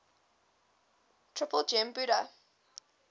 triple gem buddha